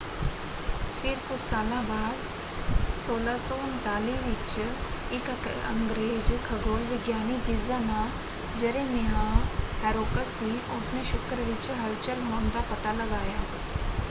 ਫਿਰ ਕੁਝ ਸਾਲਾਂ ਬਾਅਦ 1639 ਵਿੱਚ ਇੱਕ ਅੰਗਰੇਜ਼ ਖਗੋਲ ਵਿਗਿਆਨੀ ਜਿਸਦਾ ਨਾਮ ਜਰੇਮਿਆਹ ਹੈਰੋਕਸ ਸੀ ਉਸਨੇ ਸ਼ੁੱਕਰ ਵਿੱਚ ਹਲਚਲ ਹੋਣ ਦਾ ਪਤਾ ਲਗਾਇਆ।